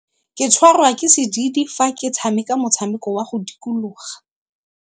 Ke tshwarwa ke sedidi fa ke tshameka motshameko wa go dikologa.